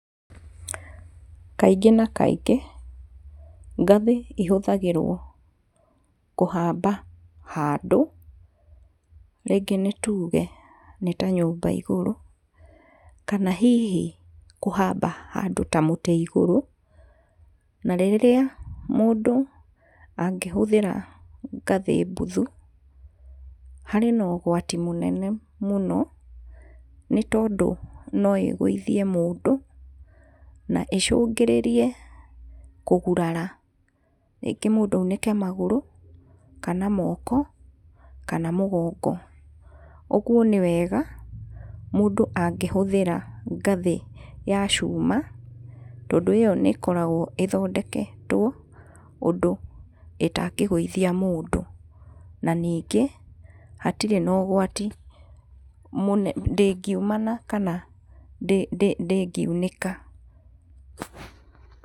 Kaingĩ na kaingĩ ngathĩ ihũthagĩrwo kũhaba handũ rĩngĩ nĩ tuge nĩta nyũmba igũrũ kana hihi kũhaba handũ ta mũtĩ igũrũ narĩrĩa mũndũ angĩhũthĩra ngathĩ buthu harĩ na ũgwati mũnene mũno nĩ tondũ no ĩgwithie mũndũ na ĩcũgĩrĩrie kũgurara rĩngĩ mũndũ aunĩke magũrũ, kana moko, kana mũgũngo. Ũguo nĩ wega mũndũ angĩhũthĩra ngathĩ ya cuma tondũ ĩyo nĩikoragũo ithodeketwo ũndũ ĩtangĩgũithia mũndũ na nĩngĩ hatire na ũgwati mũne ndĩgiumana kana ndĩ ndĩgiunĩka.